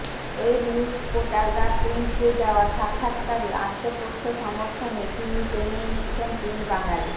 web news portal the কুইন্টকে দেওয়া সাক্ষাত্কারে আত্মপক্ষ সমর্থনে তিনি টেনে এনেছেন তিন বাঙালি